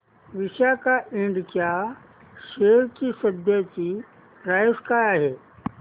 Visaka Ind च्या share ची सध्याची प्राइस काय आहे